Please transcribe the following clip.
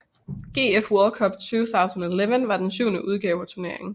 GF World Cup 2011 var den syvende udgave af turneringen